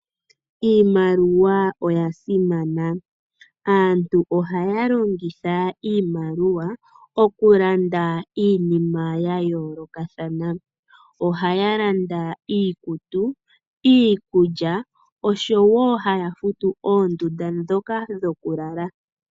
Iimaliwa oyasimana. Aantu ohaya longitha iimaliwa okulanda iinima yayoolokathana. Ohaya landa iikutu, iikulya, osho wo haya futu oondunda dhoka dhokulala.